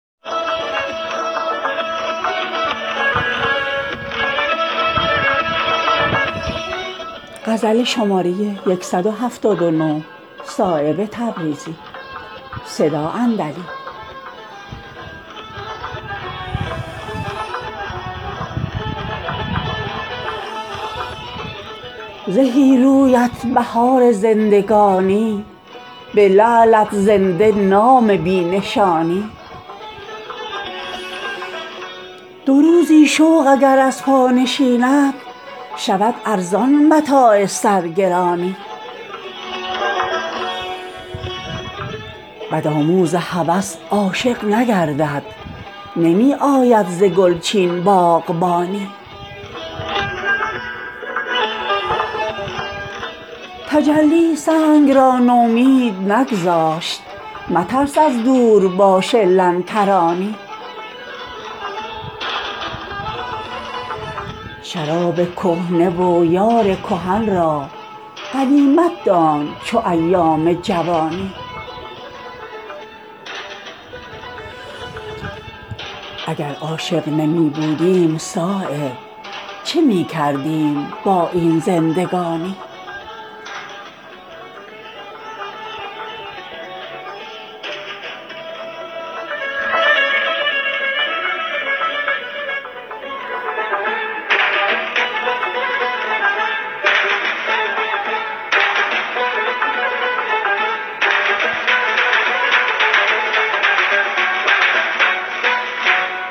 تجلی سنگ را نومید نگذاشت مترس از دورباش لن ترانی خموشی را امانت دار لب کن پشیمانی ندارد بی زبانی شراب کهنه و یار کهن را غنیمت دان چو ایام جوانی به حرف عشق سرگرم که باشد حیات شمع از آتش زبانی اگر عاشق نمی بودیم صایب چه می کردیم با این زندگانی زهی رویت بهار زندگانی به لعلت زنده نام بی نشانی دو زلفت شاهراه لشکر چین دو چشمت خوابگاه ناتوانی دو روزی شوق اگر از پا نشیند شود ارزان متاع سرگرانی بدآموز هوس عاشق نگردد نمی آید ز گلچین باغبانی مکن چون خضر بر خود راه را دور که نزدیک است راه جانفشانی